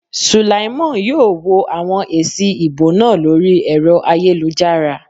Sulaimon yóò wo àwọn èsì ìbò náà lórí ẹ̀rọ ayélujára